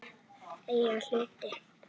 Eigin hlutir.